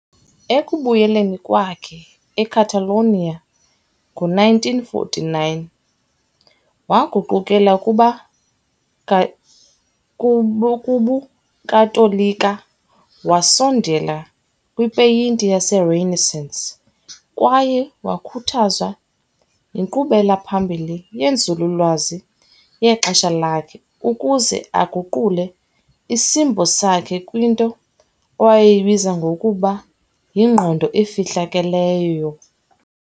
Ekubuyeleni kwakhe eCatalonia ngo-1949, waguqukela kuba kubuKatolika, wasondela kwipeyinti yeRenaissance kwaye wakhuthazwa yinkqubela phambili yenzululwazi yexesha lakhe ukuze aguqule isimbo sakhe kwinto owayeyibiza ngokuba "yingqondo efihlakeleyo".